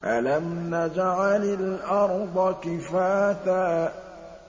أَلَمْ نَجْعَلِ الْأَرْضَ كِفَاتًا